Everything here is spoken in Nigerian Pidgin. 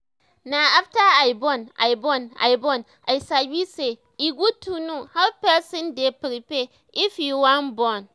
Na after I born, I born, I sabi sey he good to know how person dey prepare if he want born